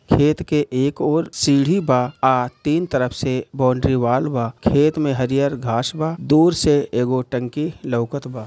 खेत के एक ओर सीढ़ी बा आ तीन तरफ से बॉउंड्री वाल बा खेत में हरी हरी घास बा दुर से एको टंकी लौगात बा।